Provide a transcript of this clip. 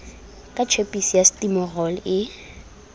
ka tjhepisi ya stimorol e